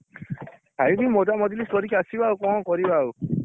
ଖାଇକି ମଜାମଜଲିସ କରିକି ଆସିବା ଆଉ କଣ କରିବା ଆଉ?